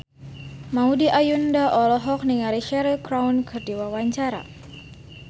Maudy Ayunda olohok ningali Cheryl Crow keur diwawancara